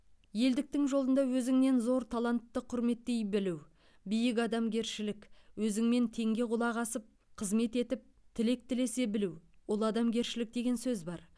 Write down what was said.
елдіктің жолында өзіңнен зор талантты құрметтей білу биік адамгершілік өзіңмен теңге құлақ асып қызмет етіп тілек тілесе білу ол адамгершілік деген сөз бар